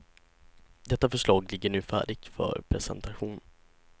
Detta förslag ligger nu färdigt för presentation.